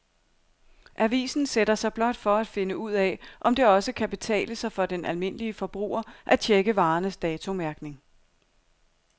Avisen sætter sig blot for at finde ud af, om det også kan betale sig for den almindelige forbruger at checke varernes datomærkning.